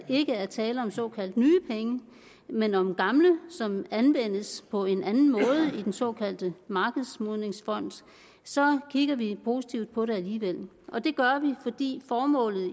ikke er tale om såkaldt nye penge men om gamle som anvendes på en anden måde i den såkaldte markedsmodningsfond så kigger vi positivt på det alligevel og det gør vi fordi formålet